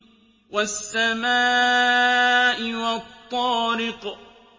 وَالسَّمَاءِ وَالطَّارِقِ